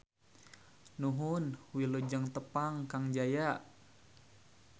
Nuhun Wilujeng tepang Kang Jaya.